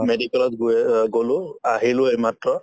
medical ত গৈয়ে অ গলো আহিলো এইমাত্ৰ